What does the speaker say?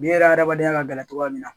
Biyɛn yɛrɛ adamadenya ka gɛlɛn cogoya min na